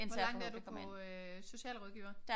Hvor langt er du på øh socialrådgiver?